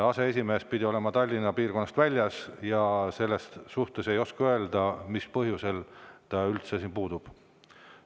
Aseesimees pidi olema Tallinna piirkonnast väljas ja ma ei oska öelda, mis põhjusel ta üldse puudub.